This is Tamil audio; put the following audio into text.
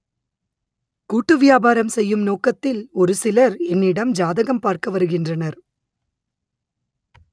கூட்டு வியாபாரம் செய்யும் நோக்கத்தில் ஒரு சிலர் என்னிடம் ஜாதகம் பார்க்க வருகின்றனர்